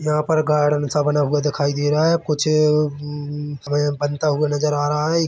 यहाँ पर गार्डन सा बना हुआ दिखाई दे रहा है कुछ उम्-म बनता हुआ नजर आ रहा हैएक